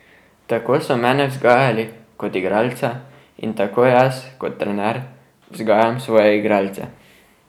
Tako so mene vzgajali kot igralca in tako jaz kot trener vzgajam svoje igralce.